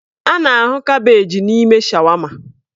A na-ahụ kabeeji n'ime shawama.